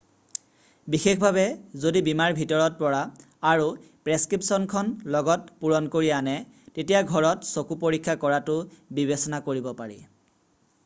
বিশেষভাৱে যদি বীমাৰ ভিতৰত পৰা আৰু প্ৰেছক্ৰিপচনখন লগত পুৰণ কৰি আনে তেতিয়া ঘৰত চকু পৰীক্ষা কৰাটো বিবেচনা কৰিব পাৰি